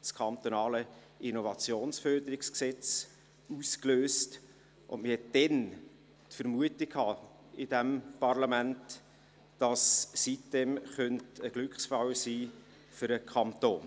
das kantonale Innovationsförderungsgesetz (IFG) aus und hatte damals seitens dieses Parlaments die Vermutung, die sitem-insel könnte ein Glücksfall sein für den Kanton.